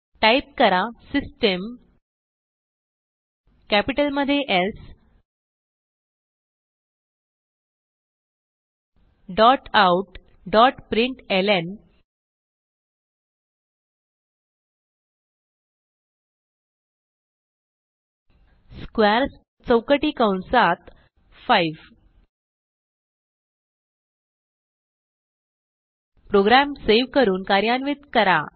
type करा system capital मध्ये soutprintlnस्क्वेअर्स चौकटी कंसात 5 प्रोग्राम सेव्ह करून कार्यान्वित करा